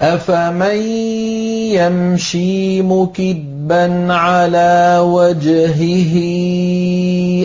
أَفَمَن يَمْشِي مُكِبًّا عَلَىٰ وَجْهِهِ